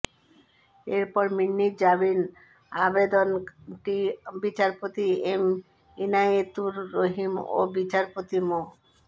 এরপর মিন্নির জামিন আবেদনটি বিচারপতি এম ইনায়েতুর রহিম ও বিচারপতি মো